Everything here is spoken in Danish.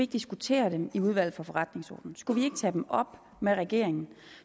diskutere dem i udvalget for forretningsordenen skulle vi ikke tage dem op med regeringen